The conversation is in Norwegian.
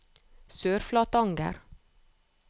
Sørflatanger